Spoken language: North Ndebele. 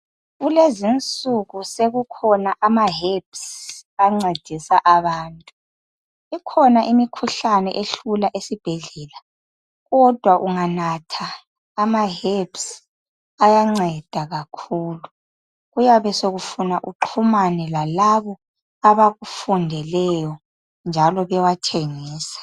Kulezinsiku sekukhona amaherbs ancedisa abantu. Ikhona imikhuhlane ehlula esibhedlela, kodwa unganatha amaherbs ayanceda kakhulu. Kuyabe sekufuna uxhumane lalabo abakufundeleyo njalo bewathengisa.